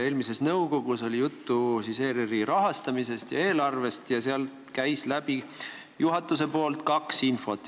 Eelmisel korral oli nõukogus juttu ERR-i rahastamisest ja eelarvest ning juhatus informeeris meid kahest asjast.